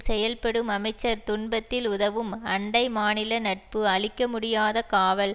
செயல்படும் அமைச்சர் துன்பத்தில் உதவும் அண்டை மாநில நட்பு அழிக்கமுடியாத காவல்